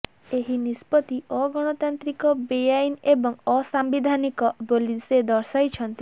ଏହି ନିଷ୍ପତ୍ତି ଅଗଣତାନ୍ତ୍ରିକ ବେଆଇନ ଏବଂ ଅସାମ୍ବିଧାନିକ ବୋଲି ସେ ଦର୍ଶାଇଛନ୍ତି